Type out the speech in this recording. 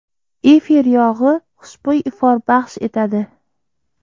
Efir yog‘i xushbo‘y ifor baxsh etadi.